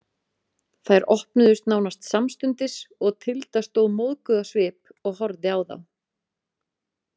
Þær opnuðust nánast samstundis og Tilda stóð móðguð á svip og horfði á þá.